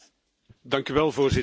Dank u wel, Voorzitter.